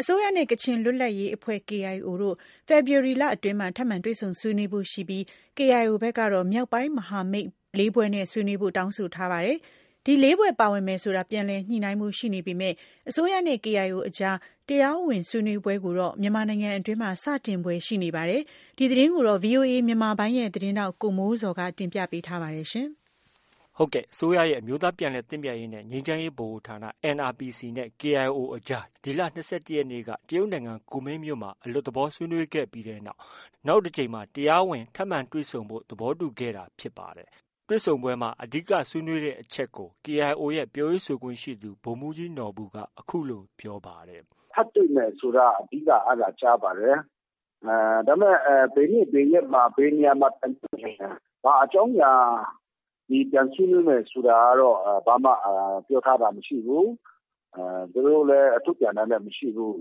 အစိုးရနဲ့ ကချင်လွတ်လပ်ရေးအဖွဲ့ KIO တို့ ဖေဖော်ဝါရီလအတွင်းမှာ ထပ်မံတွေ့ဆွေးနွေးဖို့ ရှိနေပြီး KIO ဘက်ကတော့ မြောက်ပိုင်းမဟာမိတ် ၄ဖွဲ့နဲ့ ဆွေးနွေးဖို့ တောင်းဆိုထားပါတယ်။ ဒီ ၄ဖွဲ့ ပါဝင်မယ်ဆိုတာ ပြန်လည်ညှိနှိုင်းဖို့ ရှိနေပေမဲ့ အစိုးရနဲ့ KIO အကြား တရားဝင်ဆွေးနွေးပွဲကိုတော့ မြန်မာနိုင်ငံအတွင်းမှာ စတင်ဖွယ် ရှိနေပါတယ်။ ဒီသတင်းကိုတော့ ဗွီအိုအေမြန်မာပိုင်းရဲ့ သတင်းထောက် ကိုမိုးဇော်က တင်ပြထားပါတယ်။ အစိုးရရဲ့ အမျိုးသားပြန်လည်သင့်မြတ်ရေးနဲ့ ငြိမ်းချမ်းရေးဗဟိုဌာန NRPC နဲ့ KIO အကြား ဒီလ ၂၁ရက်နေ့က တရုတ်နိုင်ငံကူမင်းမြို့မှာ အလွတ်သဘော ဆွေးနွေးပြီးတဲ့နောက် နောက်တကြိမ်မှာ တရားဝင် ထပ်မံတွေ့ဆုံကြဖို့ သဘောတူညီခဲ့တာဖြစ်ပါတယ်။ တွေ့ဆုံပွဲမှာ အဓိက ဆွေးနွေးခဲ့တဲ့အချက်ကို KIO ရဲ့ ပြောရေးဆိုခွင့်ရှိသူ ဗိုလ်မှုးကြီးနော်ဘူက အခုလို ပြောပါတယ်။ “ထပ်တွေ့မယ် ဆိုတာ အဓိက အဲဒါ ကြားပါတယ်။ ဒါပေမဲ့ ဘယ်နေ့ ဘယ်ရက်မှာ ဘယ်နေရာမှာ ပြန်တွေ့မယ်ဆိုတာ ဘာအကြောင်းအရာတွေ ဆွေးနွေးမယ်ဆိုတာတော့ ဘာမှ ပြောထားတာမရှိဘူး။ ထုတ်ပြန်တာလည်း မရှိဘူး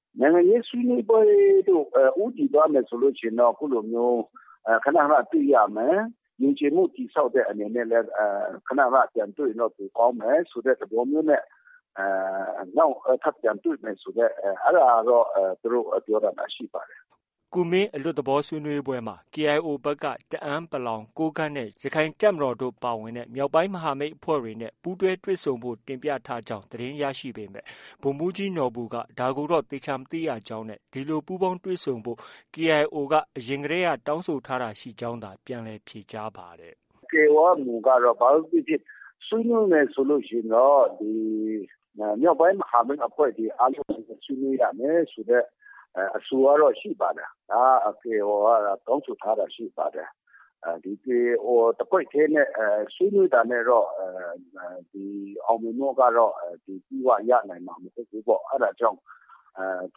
။ နိုင်ငံရေးဆွေးနွေးပွဲကို ဦးတည်သွားမယ်ဆိုရင်တော့ အခုလိုမျိုး ခန ခန တွေ့ရမယ်။ ယုံကြည်မှုတည်ဆောက်တဲ့အနေနဲ့လည်း ခန ခနပြန်တွေ့ရင်တော့ ကောင်းမယ်ဆိုတဲ့ သဘောမျိုးနဲ့ နောက် ထပ်ပြန်တွေ့မယ်ဆိုတာတော့ အဲလို ပြောတာတော့ ရှိပါတယ်။ ” ကူမင်း အလွတ်သဘောဆွေးနွေးပွဲမှာ KIO ဘက်က တအန်း ၊ ကိုးကန့်နဲ့ ရခိုင်တပ်မတော် ပါဝင်တဲ့ မြောက်ပိုင်းမဟာမိတ်အဖွဲ့တွေနဲ့ ပူးတွဲတွေ့ဆုံဖို့ တင်ပြထားကြောင်း သတင်း ရရှိခဲ့ပေမဲ့ ဗိုလ်မှုးကြီးနော်ဘူက ဒါကိုတော့ သေချာမသိကြောင်း၊ ဒီလိုပူးပေါင်းတွေ့ဆုံဖို့ KIO က အရင်ကတည်းက တောင်းဆိုထားတာ ရှိကြောင်းသာ ပြန်လည်ဖြေကြားပါတယ်။ “KIO ရဲ့ မူကတော့ ဘာပဲဖြစ်ဖြစ် ဆွေးနွေးမယ် ဆိုလို့ရှိရင်တော့ ဒီ မြောက်ပိုင်းမဟာမိတ်အဖွဲ့တွေ အားလုံးနဲ့ ဆွေးနွေးရမယ်ဆိုတဲ့ အဆိုကတော့ ရှိပါတယ်။ KIO က တောင်းဆိုထားတာရှိပါတယ်။ KIO တစ်ဖွဲ့တည်းနဲ့ ဆွေးနွေးတာနဲ့တော့ အောင်မြင်မှုကတော့ အပြည့်အ၀ ရနိုင်မှာ မဟုတ်ဘူးပေါ့။ အဲဒါကြောင့် တ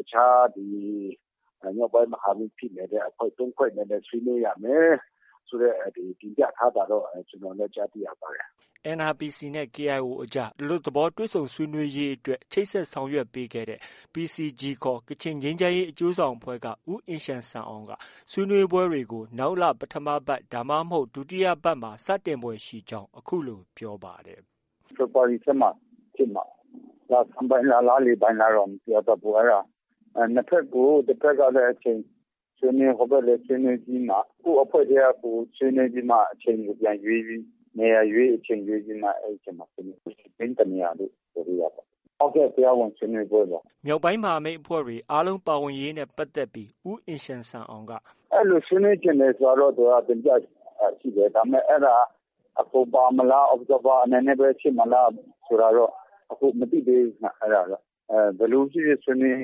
စ်ခြား ဒီ မြောက်ပိုင်း မဟာမိတ်ဖြစ်နေတဲ့ အဖွဲ့ ၃ဖွဲ့နဲ့လည်း ဆွေးနွေးရမယ်ဆိုတဲ့ တင်ပြထားတာတော့ ကျနော်လည်း ကြားသိရပါတယ်။” NRPC နဲ့ KIO အကြား အလွတ်သဘောဆွေးနွေးရေးအတွက် ချိတ်ဆက်ဆောင်ရွက်ပေးခဲ့တဲ့ PCG ခေါ် ကချင်ငြိမ်းချမ်းရေးအကျိုးဆောင်အဖွဲ့က ဦးအင်ရှန်ဆန်အောင်က ဆွေးနွေးပွဲတွေကို နောက်လ ပထမပတ်ဒါမှ မဟုတ် ဒုတိယပတ်မှ စတင်ဖွယ်ရှိကြောင်း အခုလို ပြောပါတယ်။ “ဖေဖော်ဝါရီထဲမှာ ဖြစ်မှာပါ။ လဆန်းပိုင်းလား၊ လလည်ပိုင်းလားတော့ မပြောတတ်ဘူး။ နှစ်ဘက်ကို တစ်ဘက်ကလည်းဆွေးနွေးတဲ့အချိန် ဟိုဘက်ကို ဆွေးနွေးပြီးမှ၊ ကိုယ့်အဖွဲ့ထဲကိုယ်ဆွေးနွေးပြီးမှ အချိန်ကို ပြန်ရွေးပြီး နေရာရွေး၊ အချိန်ရွေးပြီးမှ အဲဒီထဲမှပြန်ဆွေးနွေးဖို့ ရှိတယ်။ ပြည်တွင်းတစ်နေရာလို့ ပြောလို့ရပါတယ်။ ဟုတ်ကဲ့ တရားဝင်ဆွေးနွေးပွဲပါ။” မြောက်ပိုင်းမဟာမိတ်အဖွဲ့တွေ အားလုံး ပါဝင်ရေးနဲ့ပတ်သက်ပြီး ဦးအင်ရှန်ဆန်အောင်က “ အဲလို ဆွေးနွေးချင်တယ်ဆိုတာတော့ သူက တင်ပြတာရှိတယ်။ ဒါပေမဲ့ အဲဒါ အကုန်ပါမလား၊ Observer အဖြစ်ပဲ ဖြစ်မလား ဆိုတာတော့ အခု မသိသေးဘူးခင်ဗျ၊ အဲဒါတော့။ ဘယ်လိုဖြစ်ဖြစ် ဆွေးနွေး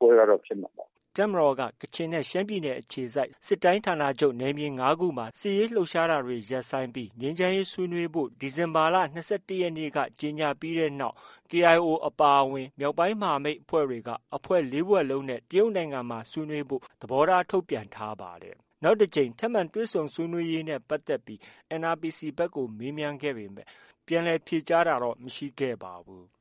ပွဲကတော့ ဖြစ်မှာပါ။” တပ်မတော်က ကချင်နဲ့ ရှမ်းပြည်နယ်အခြေစိုက် စစ်တိုင်းဌာနချုပ် နယ်မြေ ၅ခုမှာ စစ်ရေးလှုပ်ရှားတာတွေ ရပ်ဆိုင်းကြောင်း ဒီဇင်ဘာလ ၂၁ရက်နေ့က ကြေညာပြီးတဲ့နောက် KIO အပါအဝင် မြောက်ပိုင်းမဟာမိတ်အဖွဲ့ တွေက အဖွဲ့ ၄ဖွဲ့လုံးနဲ့ တရုတ်နိုင်ငံမှာ ဆွေးနွေးဖို့ သဘောထား ထုတ်ပြန်ထားပါတယ်။ နောက်တစ်ကြိမ်ထပ်မံတွေ့ဆုံရေးနဲ့ပတ်သက်ပြီး NRPC ဘက်ကို မေးမြန်းခဲ့ပေမဲ့ ပြန်လည်ဖြေကြားခဲ့တာ မရှိပါဘူး။